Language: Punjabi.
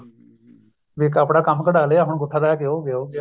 ਵੀ ਆਪਣਾ ਕੰਮ ਕਢਾਲਿਆ ਹੁਣ ਅਗੁੱਠਾ ਦਿਖਾ ਉਹ ਗਿਆ ਉਹ ਗਿਆ